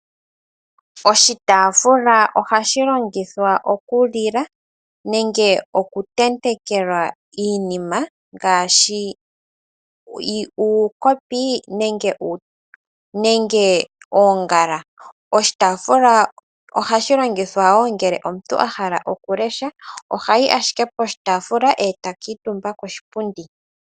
Oshitaafula ohashi longithwa okulilwa nenge okutentekwa iinima ngaashi uukopi nenge oongala. Oshitaafula ohashi longithwa ngele omuntu ahala okulesha, ohayi ashike poshitaafula eta kuutumba koshipundi.